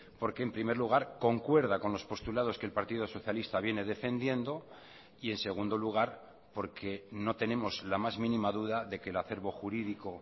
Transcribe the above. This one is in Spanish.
porque en primer lugar concuerda con los postulados que el partido socialista viene defendiendo y en segundo lugar porque no tenemos la más mínima duda de que el acerbo jurídico